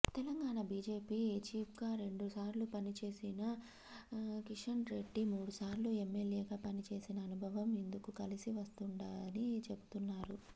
Telangana BJP చీఫ్గా రెండుసార్లు పనిచేసిన కిషన్రెడ్డి మూడుసార్లు ఎమ్మెల్యేగా పనిచేసిన అనుభవం ఇందుకు కలిసి వస్తుందని చెబుతున్నారు